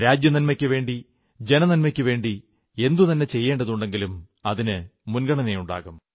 രാജ്യനന്മയ്ക്കുവേണ്ടി ജനനന്മയ്ക്കുവേണ്ടി എന്തു തന്നെ ചെയ്യേണ്ടതുണ്ടെങ്കിലും അതിനു മുൻഗണനയുണ്ടാകും